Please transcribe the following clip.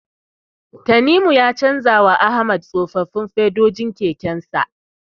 Tanimu ya canjawa Ahmad tsofaffin fedojin kekensa.